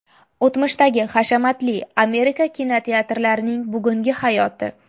O‘tmishdagi hashamatli Amerika kinoteatrlarining bugungi hayoti .